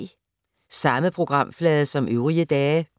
Samme programflade som øvrige dage